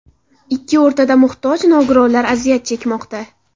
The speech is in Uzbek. Ikki o‘rtada muhtoj nogironlar aziyat chekmoqda.